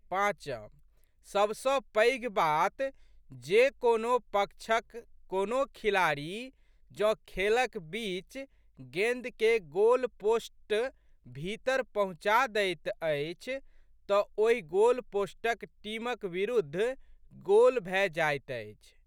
पाँच.सबसँ पैघ बात जे कोनो पक्षक कोनो खिलाड़ी जौं खेलक बीच गेंद केँ गोलपोस्ट भीतर पहुँचा दैत अछि तऽ ओहि गोलपोस्टक टीमक बिरुद्ध गोल भए जाइत अछि।